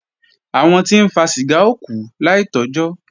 Àwọn tí ń fa ṣìgá ó kú láì tọ́jọ́